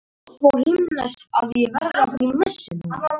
Hafi þið samúð með þeim sem að eiga pöntuð flug og þetta mál snertir?